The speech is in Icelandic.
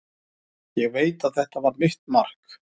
Ég veit að þetta var mitt mark.